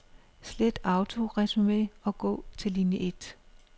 Slet autoresumé og gå til linie et.